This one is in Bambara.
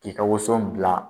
I ka woson bila